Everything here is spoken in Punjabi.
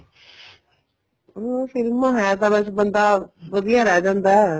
ਹਾਂ ਫ਼ਿਲਮਾ ਹੈ ਤਾਂ ਵੈਸੇ ਤਾਂ ਬੰਦਾ ਵਧੀਆ ਰਹੀ ਜਾਂਦਾ